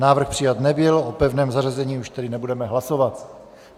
Návrh přijat nebyl, o pevném zařazení už tedy nebudeme hlasovat.